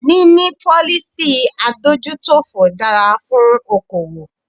Níní policy adójútòfò dára fún okoòwò.